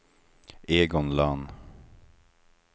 Egon Lönn